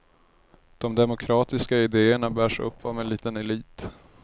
De demokratiska idéerna bärs upp av en liten elit.